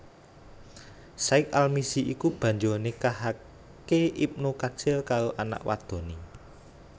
Syaikh al Mizzi iki banjur nikahake Ibnu Katsir karo anak wadoné